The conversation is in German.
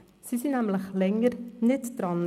Sie waren nämlich länger nicht dran.